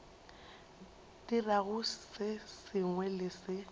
dirago se sengwe le se